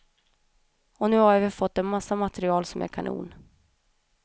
Och nu har vi fått en massa material som är kanon.